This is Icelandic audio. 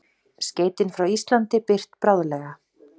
Skeytin frá Íslandi birt bráðlega